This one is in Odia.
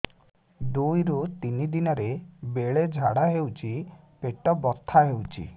ଦୁଇରୁ ତିନି ଦିନରେ ବେଳେ ଝାଡ଼ା ହେଉଛି ପେଟ ବଥା ହେଉଛି